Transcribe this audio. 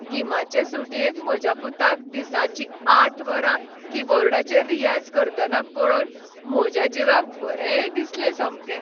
गिमाचे सुटयेंत म्हज्या पुताक दिसाचीं आठ वरां कीबोर्डचेर रियाज करतना पळोवन म्हज्या जिवाक बरें दिसलें सामकें.